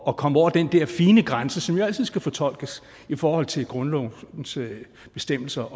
at komme over den der fine grænse som jo altid skal fortolkes i forhold til grundlovens bestemmelser